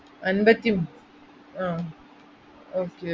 അമ്പത്തി~ അഹ് okay